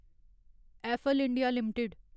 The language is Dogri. apple India limited